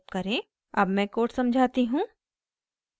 अब मैं code समझाती हूँ